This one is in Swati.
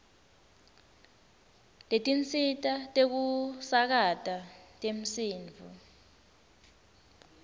setinsita tekusakata temsindvo